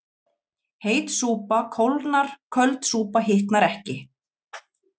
Heit súpa kólnar köld súpa hitnar ekki